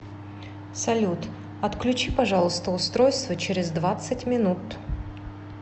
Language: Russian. салют отключи пожалуйста устройство через двадцать минут